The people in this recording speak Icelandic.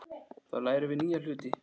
Þar lærum við nýja hluti.